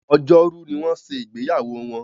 Ọjọ́ Rú ní wón ṣe ìgbéyàwó wón.